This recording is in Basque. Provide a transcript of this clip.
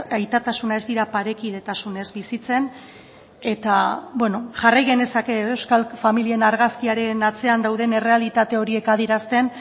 aitatasuna ez dira parekidetasunez bizitzen eta bueno jarrai genezake edo euskal familien argazkiaren atzean dauden errealitate horiek adierazten